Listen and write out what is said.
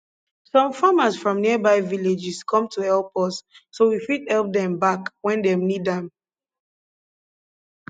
some farmers from nearby villages come to help us so we fit help dem back when dem need dem need am